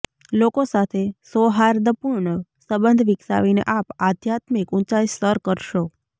લોકો સાથે સૌહાર્દપૂર્ણ સંબંધ વિકસાવીને આપ આધ્યાત્મિક ઊંચાઇ સર કરશો